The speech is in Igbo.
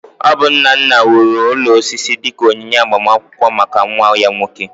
Ọ bụ nna nna wuru ụlọ osisi dị ka onyinye agbamakwụkwọ maka nwa ya nwoke